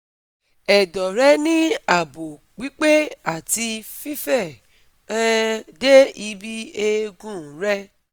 Edo re ni abo pipe ati fife um de ibi eegun re